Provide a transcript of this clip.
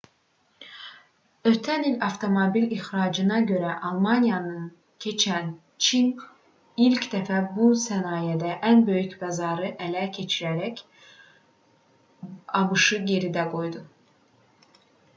ötən il avtomobil ixracına görə almaniyanı keçən çin ilk dəfə bu sənayedə ən böyük bazarı ələ keçirərək abş-ı geridə qoydu